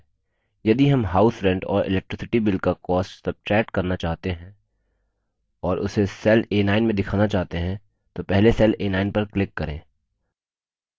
यदि हम house rent और electricity bill का cost सब्ट्रैक्ट करना चाहते हैं और उसे cell a9 में दिखाना चाहते हैं तो पहले cell a9 पर click करें